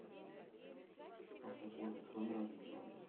автокомплекс номер один адрес